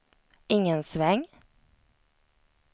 ingen sväng